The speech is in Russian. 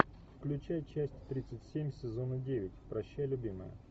включай часть тридцать семь сезона девять прощай любимая